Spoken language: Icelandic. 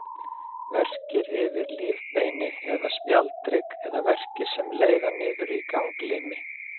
Verkir yfir lífbeini eða spjaldhrygg, eða verkir sem leiða niður í ganglimi.